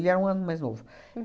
Ele era um ano mais novo.